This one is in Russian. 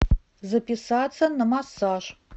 записаться на массаж